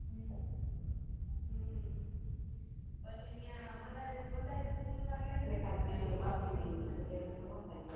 હમ હમ પછી ન્યા બધા એ pool માં ગ્યાતા બધા એ પૂલ મા ગયા તા કે ગયા તા